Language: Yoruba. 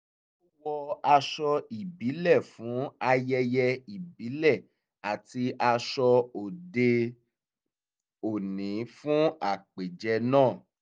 ó wọ aṣọ ìbílẹ̀ fún ayẹyẹ ìbílẹ̀ àti aṣọ òde-òní fún àpèjẹ náà